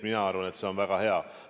Mina arvan, et see on väga hea.